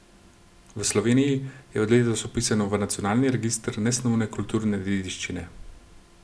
V Sloveniji je od letos vpisano v Nacionalni register nesnovne kulturne dediščine.